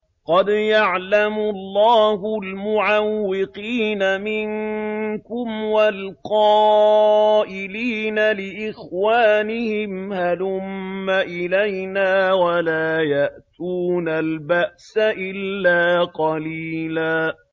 ۞ قَدْ يَعْلَمُ اللَّهُ الْمُعَوِّقِينَ مِنكُمْ وَالْقَائِلِينَ لِإِخْوَانِهِمْ هَلُمَّ إِلَيْنَا ۖ وَلَا يَأْتُونَ الْبَأْسَ إِلَّا قَلِيلًا